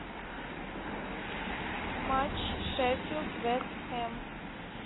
матч шеффилд вест хэм